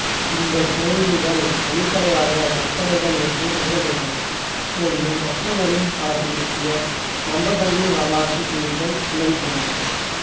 இந்த புனைவுகள் வெளிப்படையாக கற்பனைகள் என்று கருதப்படுகின்ற போதிலும் அசோகரின் காலத்தைப் பற்றிய நம்பத்தகுந்த வரலாற்று செய்திகளை உள்ளடக்கியுள்ளன